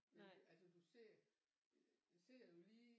Altså du sidder sidder jo lige